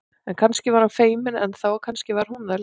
En kannski var hann feiminn enn þá og kannski var hún það líka.